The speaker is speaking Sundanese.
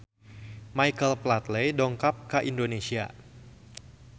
Michael Flatley dongkap ka Indonesia